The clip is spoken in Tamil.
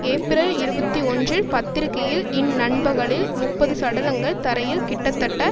ஏப்பிரல் இருபத்தி ஒன்றில் பத்திரிகையில் இந் நண்பகலில் முப்பது சடலங்கள் தரையில் கிட்டத்தட்ட